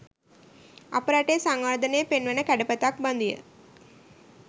අප රටේ සංවර්ධනය පෙන්වන කැඩපතක් බඳුය.